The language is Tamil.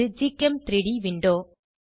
இது gchem3ட் விண்டோ